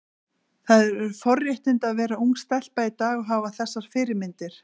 Það eru forréttindi að vera ung stelpa í dag og hafa þessar fyrirmyndir.